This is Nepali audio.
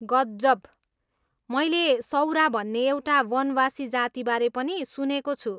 गजब! मैले सौरा भन्ने एउटा वनवासी जातिबारे पनि सुनेको छु।